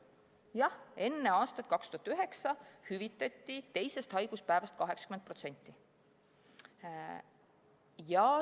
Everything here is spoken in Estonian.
Jah, enne aastat 2009 hüvitati teisest haiguspäevast alates 80%.